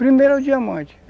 Primeiro é o diamante.